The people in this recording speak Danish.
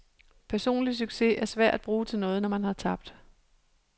Personlig succes er svær at bruge til noget, når man har tabt.